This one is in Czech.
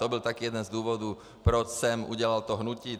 To byl také jeden z důvodů, proč jsem udělal to hnutí.